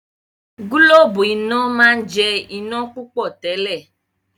gilobu iná món jẹ iná púpọ tèlé.